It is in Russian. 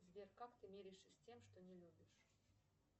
сбер как ты миришься с тем что не любишь